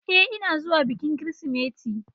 Ee, ina zuwa bikin Kirsimeti.